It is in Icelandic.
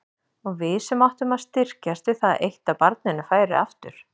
Og við sem áttum að styrkjast við það eitt að barninu færi aftur.